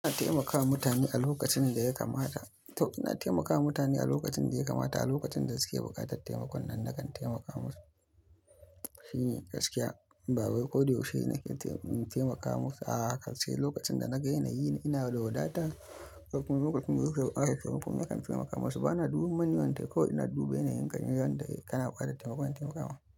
Ina taimakawa mutane a lokacin da ya kamata. To ina taimakawa mutane a lokacin da ya kamata, a lokacin da suke buƙatar taimakon nan na kan taimaka musu. Shi ne gaskiya ba wai ko da yaushe ne nake taimakawa masa. A haka sai lokacin da na ga yana yi ina da wadata, lokacin da suke buƙata nakan taimakawa musu. Bana duban mani wanda ko ina duba yanayin gani wanda kana bukatar taimakon in taimaka ma.